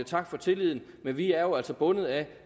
tak for tilliden men vi er jo altså bundet af